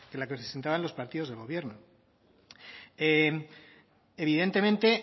la que presentaban los partidos del gobierno evidentemente